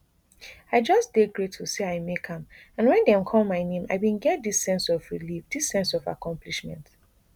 i just dey grateful say i make am and wen dem call my name i bin get dis sense of relief dis sense of accomplishment